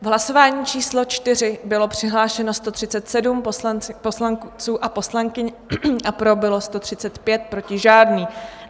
V hlasování číslo 4 bylo přihlášeno 137 poslanců a poslankyň, pro bylo 135, proti žádný.